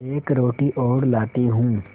एक रोटी और लाती हूँ